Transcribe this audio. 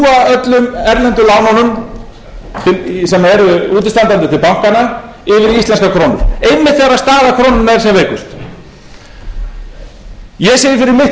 öllum erlendu lánunum sem eru útistandandi til bankanna yfir í íslenskar krónur einmitt þegar staða krónunnar er sem veikust ég segi fyrir mitt leyti